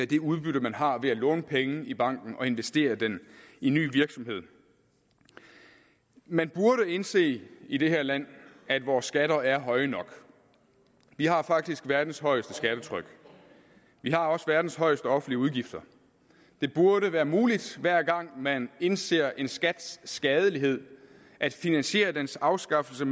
det udbytte man har ved at låne penge i banken og investere dem i ny virksomhed man burde indse i det her land at vores skatter er høje nok vi har faktisk verdens højeste skattetryk vi har også verdens højeste offentlige udgifter det burde være muligt hver gang man indser en skats skadelighed at finansiere dens afskaffelse